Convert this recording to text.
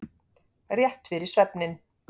Rétt fyrir svefninn.